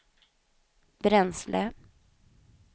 bränsle